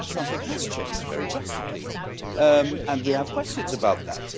Well, something has changed, very drastically, and we have questions about that.